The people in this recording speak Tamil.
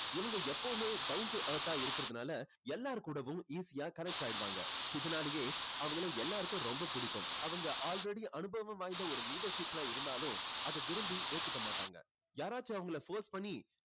இவங்க எப்பவுமே down to earth ஆ இருக்கறதுனால எல்லார் கூடைவும் easy யா connect ஆயிடுவாங்க. இதுனாலேயே அவங்களை எல்லாருக்கும் ரொம்ப பிடிக்கும். அவங்க already அனுபவம் வாய்ந்த ஒரு leadership ல இருந்தாலும் அது விரும்பி ஏத்துக்க மாட்டாங்க. யாராச்சும் அவங்களை force பண்ணி